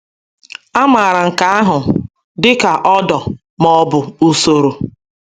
A maara nke ahụ dị ka ordo, ma ọ bụ usoro.